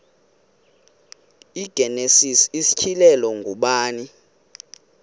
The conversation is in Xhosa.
igenesis isityhilelo ngubani